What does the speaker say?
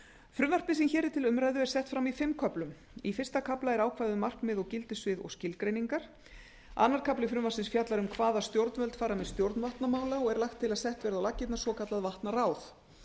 frumvarpið sem hér er til umræðu er sett fram í fimm köflum í fyrsta kafla er ákvæði um markmið og gildissvið og skilgreiningar annarkafli frumvarpsins fjallar um hvaða stjórnvöld fara með stjórn vatnamála og er lagt til að sett verði á laggirnar svokallað vatnaráð